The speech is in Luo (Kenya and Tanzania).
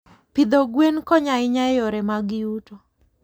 Pidho gwen konyo ahinya e yore mag yuto.